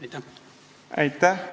Aitäh!